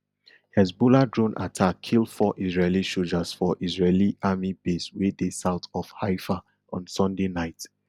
hezbollah drone attack kill four israeli sojas for israeli army base wey dey south of haifa on sunday night